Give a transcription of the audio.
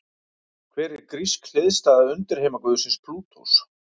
Hver er grísk hliðstæða undirheimaguðsins Plútós?